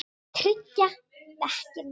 Tryggja dekkin?